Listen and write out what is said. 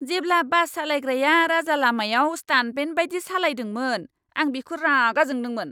जेब्ला बास सालायग्राया राजालामायाव स्टान्टमेन बायदि सालायदोंमोन, आं बिखौ रागा जोंदोंमोन।